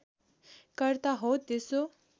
कर्ता हो त्यसो